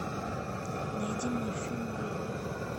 найди мне фильм боевик